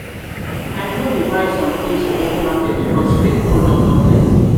i no dey buy sometins for open market because fake product don plenty.